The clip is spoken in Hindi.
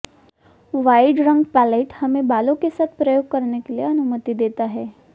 वाइड रंग रंग पैलेट हमें बालों के साथ प्रयोग करने के लिए अनुमति देता है